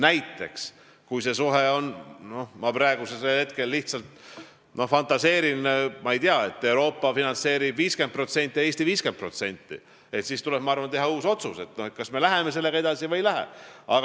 Näiteks, kui see suhe on selline – ma praegu lihtsalt fantaseerin –, et Euroopa finantseerib 50% ja Eesti 50%, siis tuleb teha uus otsus, kas me läheme sellega edasi või ei lähe.